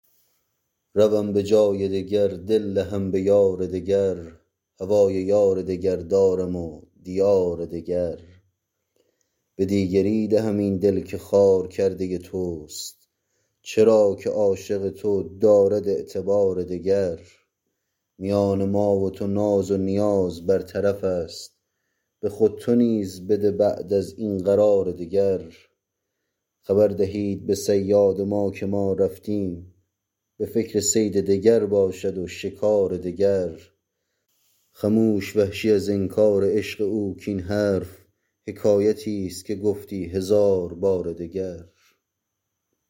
روم به جای دگر دل دهم به یار دگر هوای یار دگر دارم و دیار دگر به دیگری دهم این دل که خوار کرده تست چرا که عاشق تو دارد اعتبار دگر میان ما و تو ناز و نیاز بر طرف است به خود تو نیز بده بعد از این قرار دگر خبر دهید به صیاد ما که ما رفتیم به فکر صید دگر باشد و شکار دگر خموش وحشی از انکار عشق او کاین حرف حکایتیست که گفتی هزار بار دگر